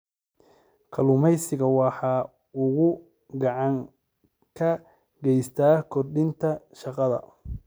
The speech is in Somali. Kalluumaysigu waxa uu gacan ka geystaa kordhinta shaqada.